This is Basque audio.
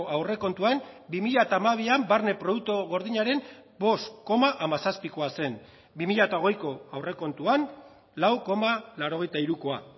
aurrekontuan bi mila hamabian barne produktu gordinaren bost koma hamazazpikoa zen bi mila hogeiko aurrekontuan lau koma laurogeita hirukoa